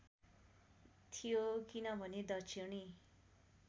थियो किनभने दक्षिणी